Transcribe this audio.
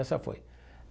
Essa foi.